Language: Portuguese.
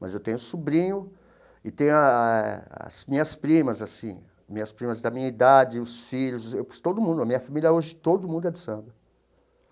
Mas eu tenho sobrinho e tenho ah as minhas primas, assim, minhas primas da minha idade, os filhos, todo mundo, a minha família hoje, todo mundo é do samba.